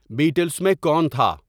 battles میں کون تھا